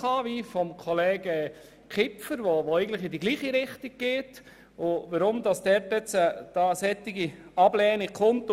Schliesslich hat Kollege Kipfer eine Motion eingereicht, die in dieselbe Richtung geht.